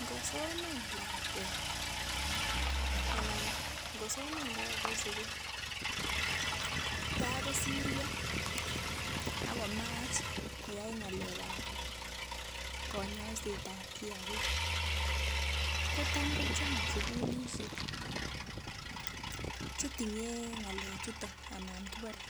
Ngosoman lakwet anan ngosoman look en sukul tai kosiryo akomach koyai ng'alek ab konyoiset ab kiagik ko tam ko chang sukulisiek chetinye ng'alek chuton anan kibore